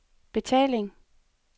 betaling